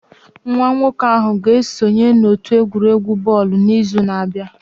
Nwa nwoke ahụ ga-esonye n'otu egwuregwu bọọlụ n'izu na-abịa